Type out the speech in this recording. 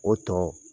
O tɔ